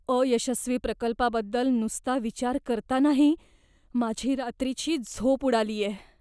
अयशस्वी प्रकल्पाबद्दल नुसता विचार करतानाही माझी रात्रीची झोप उडालीये.